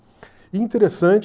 E interessante...